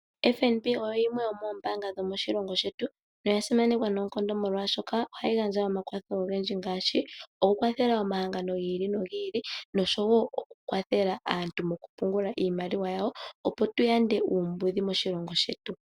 FNB oyo yimwe yomoombaanga dhomoshilongo shetu noya simanekwa noonkondo, molwaashoka ohayi gandja omakwatho ogendji ngaashi okukwathela omahangano gi ili nogi ili noshowo okukwathela aantu mokupungula iimaliwa yawo, opo tu yande uumbudhi moshilongo shetu.